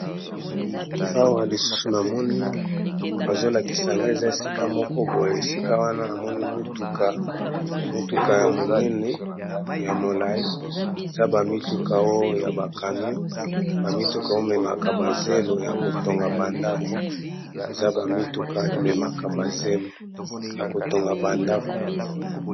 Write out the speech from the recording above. Awa lisusu namoni bazolakisaga eza esika moko boye esikawa namoni mutuka ya monene ya molayi eza ba mituka oyo ememaka ba zelo Yako Tonga ndaku.